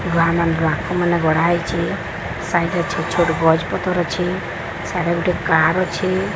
ବାହାନେ ଗ୍ରାହକ ମାନେ ଗଢ଼ା ହେଇଚେ। ସାଇଡ୍ ରେ ଛୋଟ୍ ଛୋଟ୍ ଗଛ୍ ପତର୍ ଅଛେ। ସ୍ୟାଡ଼େ ଗୋଟେ କାର୍ ଅଛେ।